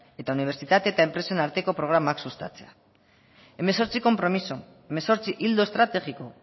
eta unibertsitate eta enpresen arteko programak sustatzea hemezortzi konpromiso hemezortzi ildo estrategiko